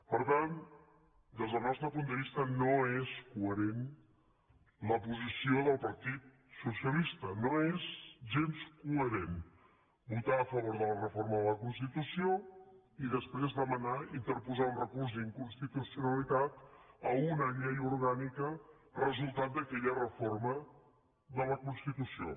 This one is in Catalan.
per tant des del nostre punt de vista no és coherent la posició del partit socialista no és gens coherent votar a favor de la reforma de la constitució i després demanar interposar un recurs d’inconstitucionalitat a una llei orgànica resultat d’aquella reforma de la constitució